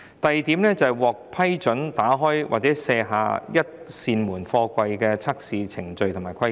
第二，是關於獲批准打開或卸下一扇門營運的貨櫃的測試程序及規格。